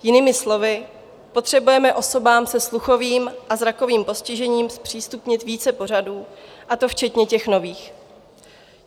Jinými slovy, potřebujeme osobám se sluchovým a zrakovým postižením zpřístupnit více pořadů, a to včetně těch nových.